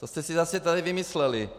To jste si zase tady vymysleli!